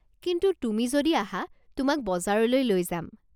কিন্তু তুমি যদি আহা, তোমাক বজাৰলৈ লৈ যাম।